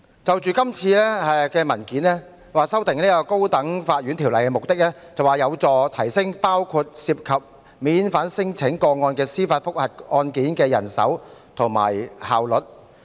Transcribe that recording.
這次修訂《高等法院條例》的目的，是為了提升包括涉及免遣返聲請的司法覆核案件的人手調配和效率。